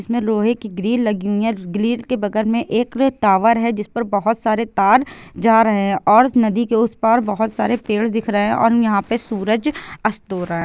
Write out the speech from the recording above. इसमें लोहे की ग्रिल लगी हुई है ग्रिल के बगल में एक टावर है जिसमे बहुत सारे तार जा रहे है और नदी के उस पार बहुत सारे पेड़ दिख रहे है और यहाँ पे सूरज अस्त हो रहा हैं।